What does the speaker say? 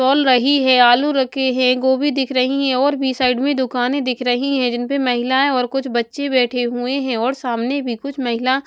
तौल रही है आलू रखे हैं गोभी दिख रही है और भी साइड में दुकाने दिख रही है जिनपे महिलाएं और कुछ बच्चे बैठे हुए हैं और सामने भी कुछ महिला--